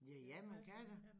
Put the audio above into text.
Ja ja man kan da